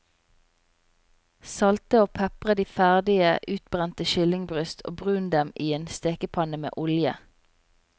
Salte og pepre de ferdig utbrente kyllingbryst og brun dem i en stekepanne med olje.